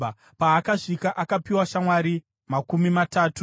Paakasvika, akapiwa shamwari makumi matatu.